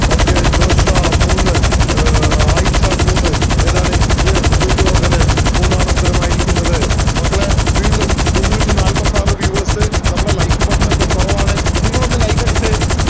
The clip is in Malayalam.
okay ജോഷ മൂന്ന് ആയിഷ മൂന്ന് ഏതാണ് yes ദുര്യോധനൻ മൂന്നാണ് ഉത്തരമായിരിക്കുന്നതു മക്കളെ വീണ്ടും മുന്നൂറ്റി നാല്പത്തിയാറ്‌ viewers നമ്മടെ like button ഒക്കെ കുറവാണ് നിങ്ങൾ ഒന്ന് like അടിച്ചേ